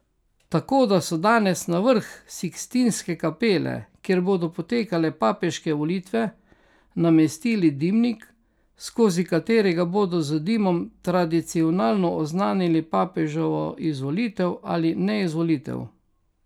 Tako so danes na vrh Sikstinske kapele, kjer bodo potekale papeške volitve, namestili dimnik, skozi katerega bodo z dimom tradicionalno oznanili papeževo izvolitev ali neizvolitev.